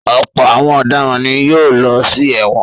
Ọ̀pọ̀ àwọn ọ̀daràn ni yóò lọ sí ẹ̀wọ̀n.